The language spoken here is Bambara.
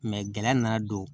gɛlɛ nana don